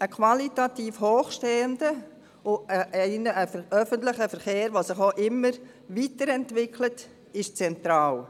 Ein qualitativ hochstehender öffentlicher Verkehr, der sich auch immer weiterentwickelt, ist zentral.